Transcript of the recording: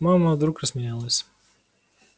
мама вдруг рассмеялась